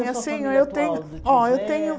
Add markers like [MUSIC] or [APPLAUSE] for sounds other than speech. [UNINTELLIGIBLE] eu tenho ó eu tenho